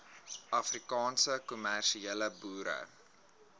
afrikaanse kommersiële boere